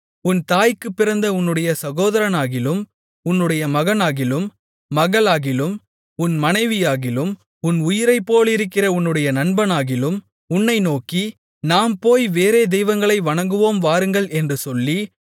உன் தாய்க்குப் பிறந்த உன்னுடைய சகோதரனாகிலும் உன்னுடைய மகனாகிலும் மகளாகிலும் உன் மனைவியாகிலும் உன் உயிரைப்போலிருக்கிற உன்னுடைய நண்பனாகிலும் உன்னை நோக்கி நாம் போய் வேறே தெய்வங்களை வணங்குவோம் வாருங்கள் என்று சொல்லி